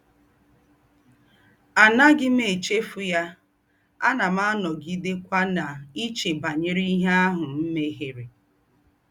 Ànàghí m èchéfù yá, ànà m ànògidékwà nà-èché bànyèrè íhé àhù m̀ mèhièrè.”